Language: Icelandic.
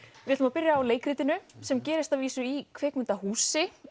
við ætlum að byrja á leikritinu sem gerist í kvikmyndahúsi